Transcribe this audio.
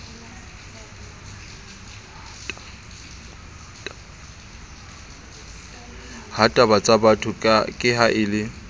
hatabatsabatho ke ha a le